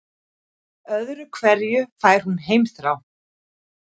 Öðru hverju fær hún heimþrá.